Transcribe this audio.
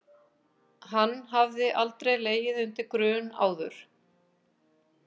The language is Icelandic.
Hann hafði aldrei legið undir grun áður.